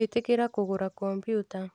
ĩtĩkira kũgũra kompiuta